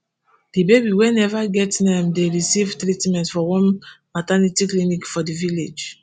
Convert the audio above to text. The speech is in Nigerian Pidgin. di baby wey neva get name dey recieve treatment for one maternity clinic for di village